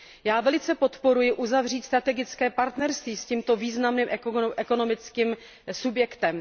Já velice podporuji uzavřít strategické partnerství s tímto významným ekonomickým subjektem.